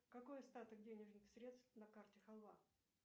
какой остаток денежных средств на карте халва